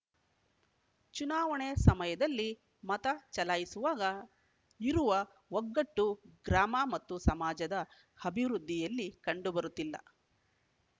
ಚುನಾವಣೆ ಸಮಯದಲ್ಲಿ ಮತ ಚಲಾಯಿಸುವಾಗ ಇರುವ ಒಗ್ಗಟ್ಟು ಗ್ರಾಮ ಮತ್ತು ಸಮಾಜದ ಅಭಿವೃದ್ಧಿಯಲ್ಲಿ ಕಂಡು ಬರುತ್ತಿಲ್ಲ